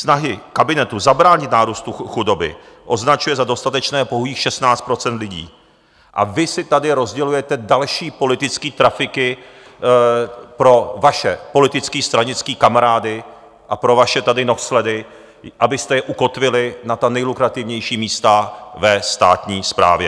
Snahy kabinetu zabránit nárůstu chudoby označuje za dostatečné pouhých 16 % lidí a vy si tady rozdělujete další politické trafiky pro vaše politické, stranické kamarády a pro vaše tady nohsledy, abyste je ukotvili na ta nejlukrativnější místa ve státní správě.